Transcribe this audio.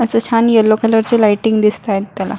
अस छान yellow colour चे lighting दिसताएत त्याला.